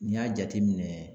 N'i y'a jateminɛ